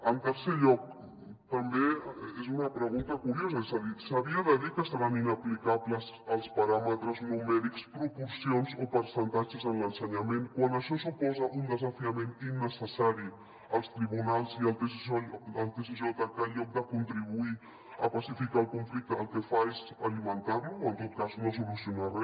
en tercer lloc també és una pregunta curiosa és a dir s’havia de dir que seran inaplicables els paràmetres numèrics proporcions o percentatges en l’ensenyament quan això suposa un desafiament innecessari als tribunals i al tsj que en lloc de contribuir a pacificar el conflicte el que fa és alimentar lo o en tot cas no solucio na re